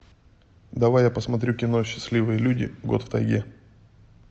давай я посмотрю кино счастливые люди год в тайге